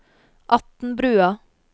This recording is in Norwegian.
Atnbrua